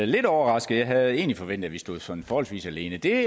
lidt overrasket jeg havde egentlig forventet at vi stod sådan forholdsvis alene det er